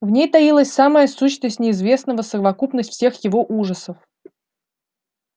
в ней таилась самая сущность неизвестного совокупность всех его ужасов